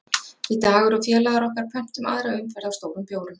Við Dagur og félagar okkar pöntum aðra umferð af stórum bjórum